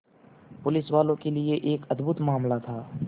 पुलिसवालों के लिए यह एक अद्भुत मामला था